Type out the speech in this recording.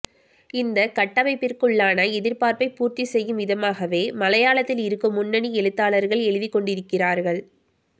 இந்தக் கட்டமைப்பிற்குள்ளான எதிர்பார்ப்பைப் பூர்த்தி செய்யும் விதமாகவே மலையாளத்தில் இருக்கும் முன்னணி எழுத்தாளர்கள் எழுதிக் கொண்டிருக்கிறார்கள்